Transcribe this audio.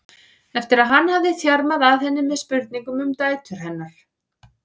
eftir að hann hafði þjarmað að henni með spurningum um dætur hennar.